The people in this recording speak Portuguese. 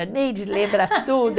A Neide lembra tudo.